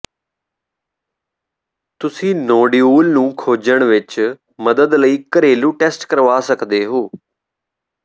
ਤੁਸੀਂ ਨੋਡਊਲ ਨੂੰ ਖੋਜਣ ਵਿਚ ਮਦਦ ਲਈ ਘਰੇਲੂ ਟੈਸਟ ਕਰਵਾ ਸਕਦੇ ਹੋ